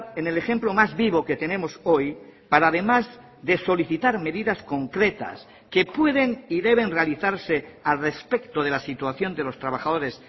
en el ejemplo más vivo que tenemos hoy para además de solicitar medidas concretas que pueden y deben realizarse al respecto de la situación de los trabajadores